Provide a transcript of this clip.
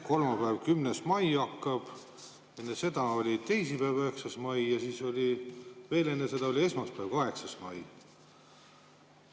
Kolmapäeva, 10. maiga hakkab, enne seda oli teisipäev, 9. mai, enne seda oli veel esmaspäev, 8. mai.